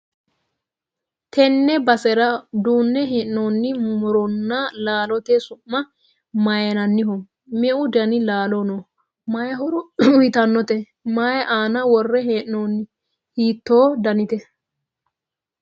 tenne basera duunne hee'noonni muronna laalote su'ma mayiinanniho? me'u dani laalo no? may horo uytannote? may aana worre hee'noonni? hiitto danite?